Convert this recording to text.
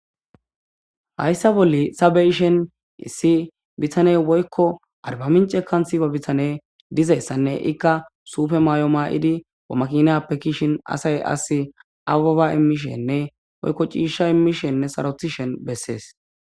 Hayssa bolle sabeyishen issi bitaney woykko arbamincekan siba bitane dizayssanne ikka sufe mayo maa'idi amaqinappe kishin asay as ababa imishenne oykko ciisha imishenne sarotishen bessees.